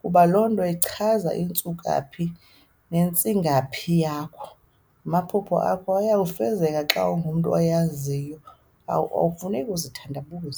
kuba lonto ichaza intsukaphi nentsingaphi yakho. Amaphupha akho ayafezeka xa ungumntu ozaziyo, akufuneki uzithandabuze